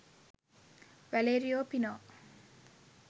valerio pino